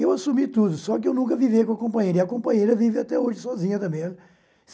Eu assumi tudo, só que eu nunca vivi com a companheira, e a companheira vive até hoje sozinha também.